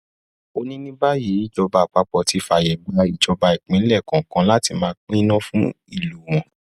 ó ní ní báyìí ìjọba àpapọ ti fààyè gba ìjọba ìpínlẹ kọọkan láti máa pín iná fún ìlú wọn